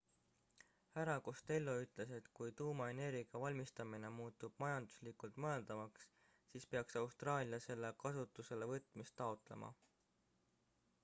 hr costello ütles et kui tuumaenergia valmistamine muutub majanduslikult mõeldavaks siis peaks austraalia selle kasutuselevõtmist taotlema